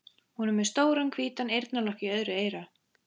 Hún er með stóran hvítan eyrnalokk í öðru eyra.